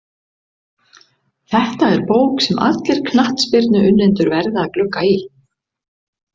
Þetta er bók sem allir knattspyrnuunnendur verða að glugga í.